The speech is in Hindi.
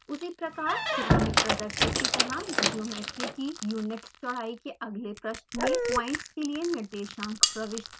उसी प्रकार चित्र में प्रदर्शित की तरह ज्योमेट्री की यूनिट चौड़ाई के अगले पृष्ठ में पॉइंट्स के लिए निर्देशांक प्रविष्ट करें